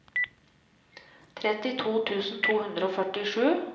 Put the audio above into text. trettito tusen to hundre og førtisju